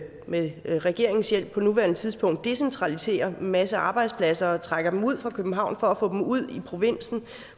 med regeringens hjælp på nuværende tidspunkt decentraliserer en masse arbejdspladser og trækker dem ud fra københavn for at få dem ud i provinsen